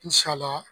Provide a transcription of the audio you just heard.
N sala